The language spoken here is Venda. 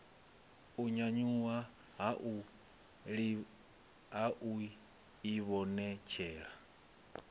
u nyanyuwa ha u ivhonetshela